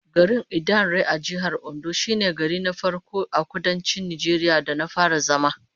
Garin Idanre a Jihar Ondo shine gari na farko a Kudancin Najeriya da na fara zama